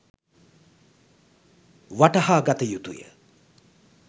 වටහා ගත යුතුය.